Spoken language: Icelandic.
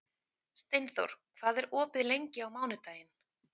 Steinþór, hvað er opið lengi á mánudaginn?